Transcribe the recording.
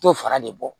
T'o fara de bɔ